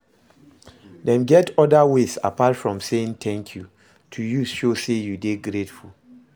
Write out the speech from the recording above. Dem get oda ways apart from saying 'thank you' to use show say you de grateful